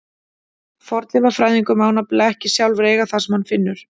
Fornleifafræðingur má nefnilega ekki sjálfur eiga það sem hann finnur.